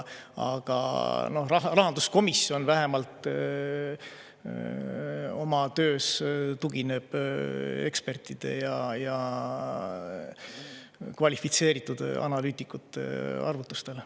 Aga rahanduskomisjon vähemalt oma töös tugineb ekspertide ja kvalifitseeritud analüütikute arvutustele.